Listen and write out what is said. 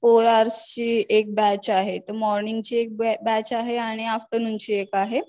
four hours ची एक batch आहे तर मॉर्निंगचे एक बॅच आहे आणि आफ्टरनून ची एक आहे